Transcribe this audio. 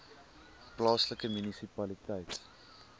plaaslike munisipaliteit